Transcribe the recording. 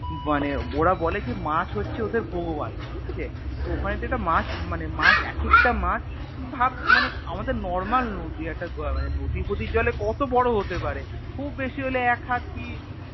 মানে ওরা বলে যে মাছ হচ্ছে ওদের ভগবান ঠিকাছে তো ওখানে তুই একটা মাছ মানে মাছ একেকটা মাছ ভাব মানে আমাদের Normal নদী একটা আহ মানে নদীরফদির জলে কত বড় হতে পারে খুব বেশি হলে এক হাত কি